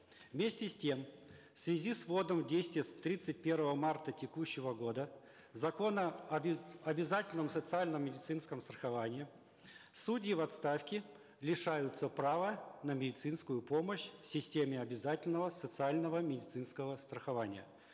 вместе с тем в связи с вводом в действие с тридцать первого марта текущего года закона обязательном социальном медицинском страховании судьи в отставке лишаются права на медицинскую помощь в системе обязательного социального медицинского страхования